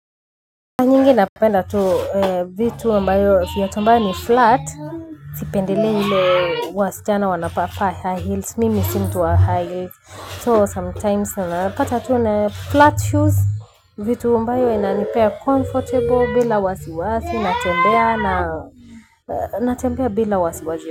Nyingi napenda tu vitu ambayo fiatu ambayo ni flat. Sipendelei nile wasichana wanapapaa high heels. Mimi si mtu wa high heels. So sometimes napata tu na flat shoes. Vitu ambayo inanipea comfortable bila wasiwasi. Natembea bila wasiwasi.